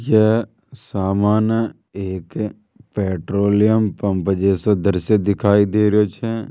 ये सामान्य एक पेट्रोलियम पंप जैसा दृश्य दिखाई दे रहे छे।